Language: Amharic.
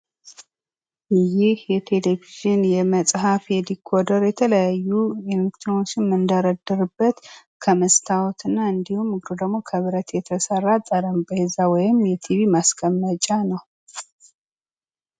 ይህ የቴሌቪዥን ፣የመፅሐፍ ፣የተለያዩ የዲኮደሮችን ፣ የተለያዩ የመፍቻ ማሽን የምንደረድርበት ከመስታወት እንዲሁም ደግሞ ከብረት የተሰራ ጠረንጴዛ ወይም የቲቪ ማስቀመጫ ነው።